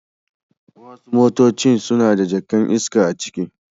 Wasu motaci suna da jaka'n iska a ciki.